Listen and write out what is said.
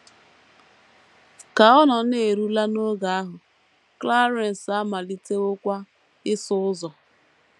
Ka ọ na - erule n’oge ahụ, Clarence amalitewokwa ịsụ ụzọ.